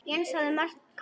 Jens hafði marga kosti.